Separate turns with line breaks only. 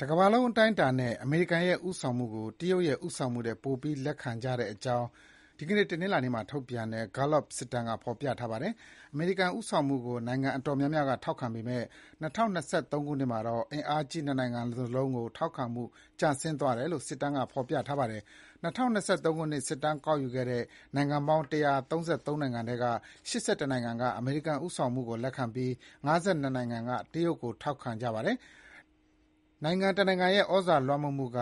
တကမ္ဘာလုံးအတိုင်းအတာနဲ့ အမေရိကန်ရဲ့ ဦးဆောင်မှုကို တရုတ်ရဲ့ ဦးဆောင်မှုထက်ပိုပြီးလက်ခံကြတဲ့အကြောင်း တနင်္လာနေ့မှာထုတ်ပြန်တဲ့ Gallup စစ်တမ်းကဖော်ပြပါတယ်။ အမေရိကန် ဦးဆောင်မှုကို နိုင်ငံတော်တော်များများ ထောက်ခံပေမဲ့ ၂၀၂၃ ခုနှစ်မှာတော့ ဒီအင်အားကြီးနှစ်နိုင်ငံလုံးကို ထောက်ခံမှုကျဆင်းသွားတယ်လို့ စစ်တမ်းကဖော်ပြတာပါ။ ၂၀၂၃ ခုနှစ် စစ်တမ်းကောက်ယူခဲ့တဲ့ နိုင်ငံပေါင်း ၁၃၃ နိုင်ငံထဲက ၈၁ နိုင်ငံက အမေရိကန်ဦးဆောင်မှုကို လက်ခံပြီး ၅၂ နိုင်ငံက တရုတ်ကိုထောက်ခံတာပါ။ နိုင်ငံတစ်နိုင်ငံရဲ့ ဩဇာလွှမ်းမိုးနိုင်မှုက